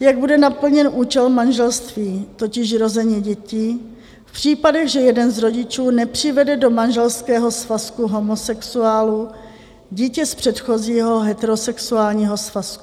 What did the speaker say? jak bude naplněn účel manželství, totiž rození dětí, v případech, že jeden z rodičů nepřivede do manželského svazku homosexuálů dítě z předchozího heterosexuálního svazku.